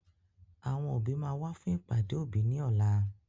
Àwọn òbí máa wá fún ìpàdé òbí ní ọlá